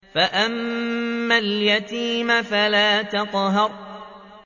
فَأَمَّا الْيَتِيمَ فَلَا تَقْهَرْ